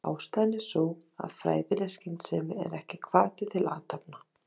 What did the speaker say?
Baldur Aðalsteinsson átti stórleik í dag og hrósaði Willum honum og öllu liðinu.